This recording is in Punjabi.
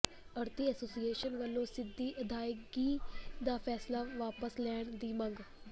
ਆੜ੍ਹਤੀ ਐਸੋਸੀਏਸ਼ਨ ਵਲੋਂ ਸਿੱਧੀ ਅਦਾਇਗੀ ਦਾ ਫ਼ੈਸਲਾ ਵਾਪਸ ਲੈਣ ਦੀ ਮੰਗ